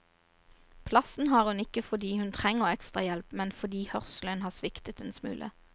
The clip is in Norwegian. Plassen har hun ikke fordi hun trenger ekstrahjelp, men fordi hørselen har sviktet en smule.